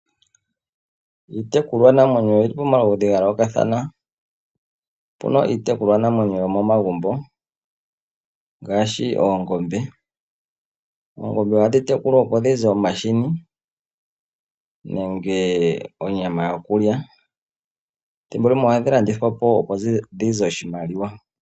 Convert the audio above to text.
Iitekulwanamwenyo oyili pamaludhi ga yoolokathana . Opuna iitekulwanamwenyo yomo magumbo ngaashi oongombe. Oongombe ohadhi tekulwa opo dhi za omahini nenge onyama yokulya . Ethimbo limwe ohadhi landithwa po opo dhize oshimaliwa.